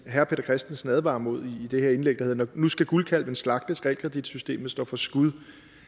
herre peter christensen advarer imod i det her indlæg der hedder nu skal guldkalven slagtes realkreditsystemet står for skud